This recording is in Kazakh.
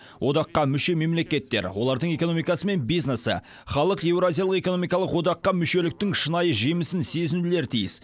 одаққа мүше мемлекеттер олардың экономикасымен бизнесі халық еуразиялық экономикалық одаққа мүшеліктің шынайы жемісін сезінулері тиіс